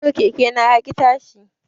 Yau keke na yaƙi tashi